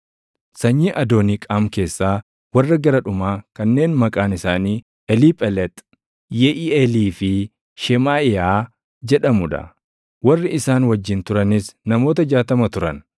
sanyii Adooniiqaam keessaa warra gara dhumaa kanneen maqaan isaanii Eliiphelex, Yeʼiiʼeelii fi Shemaaʼiyaa jedhamuu dha; warri isaan wajjin turanis namoota 60 turan;